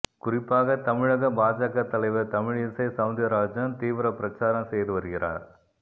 குறிப்பாக தமிழக பாஜக தலைவர் தமிழிசை செளந்திரராஜன் தீவிர பிரச்சாரம் செய்து வருகிறார்